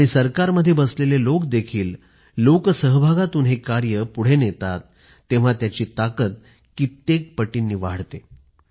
आणि सरकारमध्ये बसलेले लोक देखील लोकसहभागातून हे कार्य पुढे नेतात तेव्हा त्याची ताकद कित्येक पटीनं वाढते